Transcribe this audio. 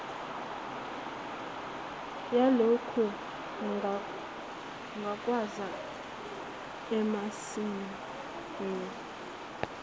yalokhu ngukwenza amasmme